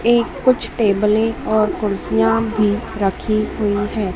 ये कुछ टेबले और कुर्सियां भी रखी हुई है।